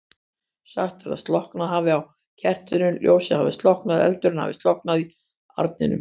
Sagt er að slokknað hafi á kertinu, ljósið hafi slokknað, eldurinn hafi slokknað í arninum.